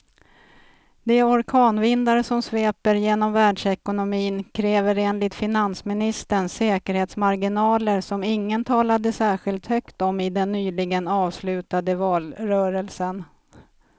De orkanvindar som sveper genom världsekonomin kräver enligt finansministern säkerhetsmarginaler som ingen talade särskilt högt om i den nyligen avslutade valrörelsen.